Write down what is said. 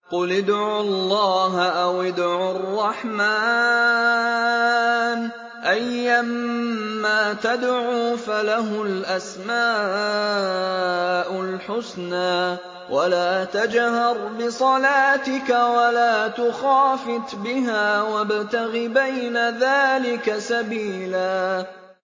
قُلِ ادْعُوا اللَّهَ أَوِ ادْعُوا الرَّحْمَٰنَ ۖ أَيًّا مَّا تَدْعُوا فَلَهُ الْأَسْمَاءُ الْحُسْنَىٰ ۚ وَلَا تَجْهَرْ بِصَلَاتِكَ وَلَا تُخَافِتْ بِهَا وَابْتَغِ بَيْنَ ذَٰلِكَ سَبِيلًا